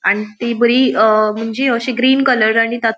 आणि ती बरी अ मुनजी अशी ग्रीन कलर आणि ता --